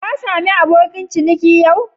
Ka samu abokin ciniki yau?